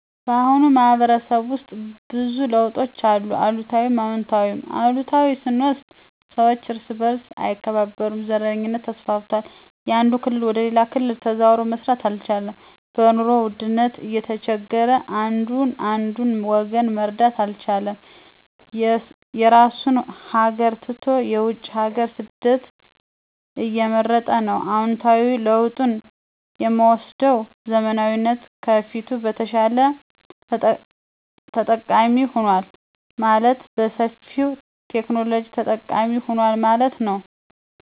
ባሁኑ ማህበረሰብ ውስጥ ብዙ ለውጦች አሉ። አሉታዊም አወንታዊም፦ አሉታዊ ስንወስድ ሰወች እርስ በርሥ አይከባበሩም፣ ዘረኝነት ተስፋፍቷል፣ ያንድ ክልል ወደ ሌላ ክልል ተዘዋዉሮ መስራት አልቻለም፣ በኑሮ ውድነት እየተቸገረ አንዱ አንዱን ወገኑን መርዳት አልቻለም፣ የራሡን ሀገር ትቶ የውጭ ሀገር ስደትን እየመረጠ ነው። አወንታዊ ለውጥ የምወስደዉ ዘመናዊነት ከፊቱ በተሻለ ተጠቃሚ ሆኗል። ማለትም በሠፊዉ የቴክኖሎጂ ተጠቃሚ ሁኗል ማለት ነዉ።